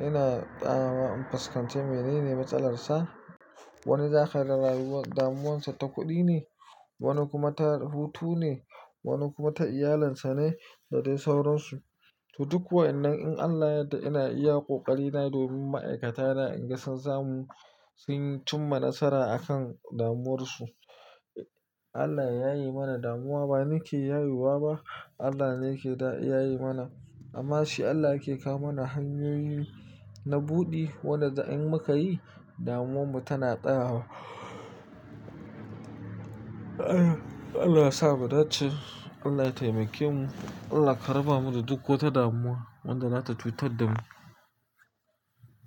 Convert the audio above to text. ina ɗawa in fuskance mene ne matsalarsa. Wani za ka ga damuwarsa ta kuɗi ne, wani kuma ta hutu ne, wani kuma ta iyalinsa ne da dai sauransu. To duk wa'innan in Allah yadda ina iya ƙoƙari na domin ma'aikata da ingancin zamu sun yi cin mana nasara akan damuwarsu. Allah yayaye mana damuwa ba nake yayewa ba, Allah ne yake yaye mana. Amma shi Allah ke kawo mana hanyoyin na buɗi wanda in muka yi damuwarmu tana tsayawa. Allah sa mu dace, Allah ya taimake mu, Allah karaba mu da duk wata damuwa wanda zata cutar da mu.